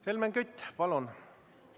Helmen Kütt, palun!